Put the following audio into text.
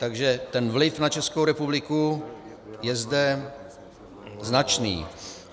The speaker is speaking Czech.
Takže ten vliv na Českou republiku je zde značný.